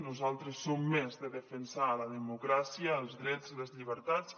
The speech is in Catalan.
nosaltres som més de defensar la democràcia els drets i les llibertats